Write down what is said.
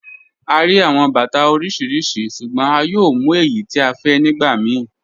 À ríí awọn bàtà oríṣiríṣí ṣùgbọ̀n à yóò mú èyí tí à fẹ́ nígbà míì.